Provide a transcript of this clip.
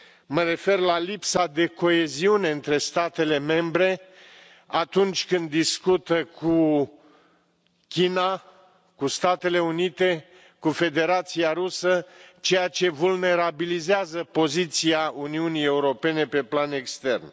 Mă refer la lipsa de coeziune între statele membre atunci când discută cu China, cu Statele Unite, cu Federația Rusă, ceea ce vulnerabilizează poziția Uniunii Europene pe plan extern.